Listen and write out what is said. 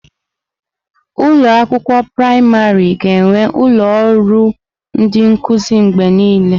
Ụlọ akwụkwọ praịmarị ga-enwe ụlọ ọrụ ndị nkuzi mgbe niile.